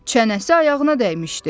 Çənəsi ayağına dəymişdi.